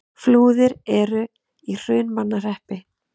Flúðir er í Hrunamannahreppi.